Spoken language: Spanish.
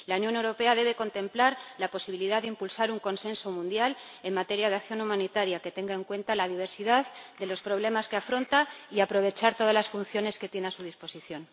La Unión Europea debe contemplar la posibilidad de impulsar un consenso mundial en materia de acción humanitaria que tenga en cuenta la diversidad de los problemas que afronta y aprovechar todas las funciones que tiene a su disposición.